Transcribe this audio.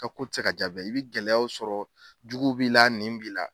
Ka ko tɛ se ka jaa bɛɛ ye i bɛ gɛlɛyaw sɔrɔ jugu b'i la nin b'i la.